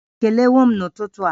Ị kelewo m n'ụtụtụ a?